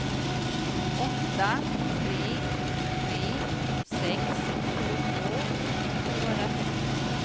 åtta tre tre sex tjugotvå sjuhundratrettio